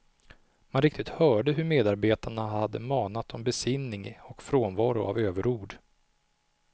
Man riktigt hörde hur medarbetarna hade manat om besinning och frånvaro av överord.